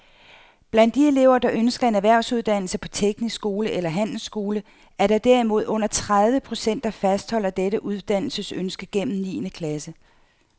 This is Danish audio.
Blandt de elever, der ønsker en erhvervsuddannelse på teknisk skole eller handelsskole, er der derimod under tredive procent, der fastholder dette uddannelsesønske gennem niende klasse.